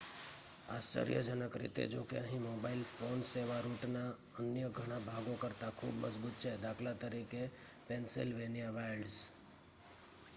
આશ્ચર્યજનક રીતે જોકે અહીં મોબાઇલ ફોન સેવા રૂટના અન્ય ઘણા ભાગો કરતા ખૂબ મજબૂત છે દા.ત પેન્સિલવેનિયા વાઇલ્ડ્સ